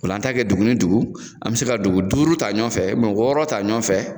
Ola an t'a kɛ dugu ni dugu an be se ka dugu duuru ta ɲɔfɛ ubiyɛn wɔɔrɔ ta ɲɔgɔnfɛ